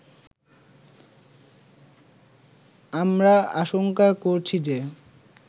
“আমরা আশংকা করছি যে